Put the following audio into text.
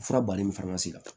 Fura baden min fana man se ka